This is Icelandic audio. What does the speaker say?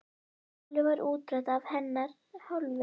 Málið var útrætt af hennar hálfu.